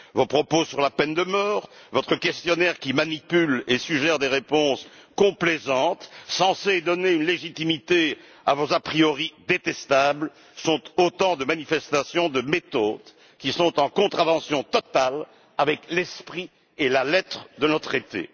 Vos propos sur la peine de mort, votre questionnaire qui manipule et suggère des réponses complaisantes censées donner une légitimité à vos a priori détestables sont autant de manifestations de méthodes qui sont en contravention totale avec l'esprit et la lettre de nos traités.